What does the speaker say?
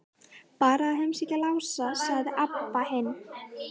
Bara að heimsækja Lása, sagði Abba hin.